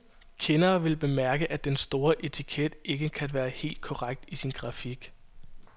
Kendere vil bemærke, at den store etiket ikke kan være helt korrekt i sin grafik.